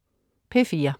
P4: